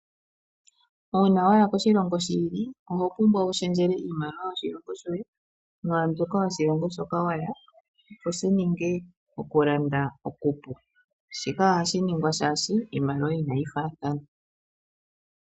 Uuna waya koshilongo shi ili oho pumbwa wu shendjele iimaliwa yoshilongo shoye mwaambyoka yoshilongo hoka waya, opo shi ninge okulanda okupu. Shika ohashi ningwa shaashi iimaliwa inayi faathana.